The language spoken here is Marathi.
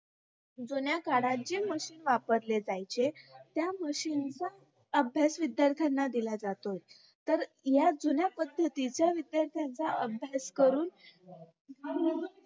जुन्याकाळात जी machine वापरले जायचे त्या machine चा अभ्यास विध्यार्थांना दिला जातो तर या जुन्यापद्धतीचा विध्यार्थांचा अभ्यास करून